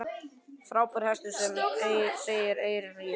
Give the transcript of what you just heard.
Frábær hestur, segir Eyrún Ýr.